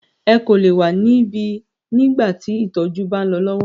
Ẹ kò lè wa níbí nígbà tí ìtọjú bá ń lọ lọwọ!